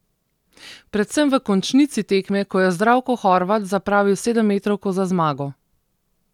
Predvsem v končnici tekme, ko je Zdravko Horvat zapravil sedemmetrovko za zmago.